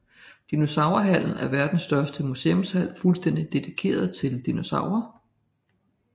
Dinosaurhallen er verdens største museumshal fuldstændig dedikeret til dinosaurer